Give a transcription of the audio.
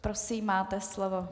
Prosím, máte slovo.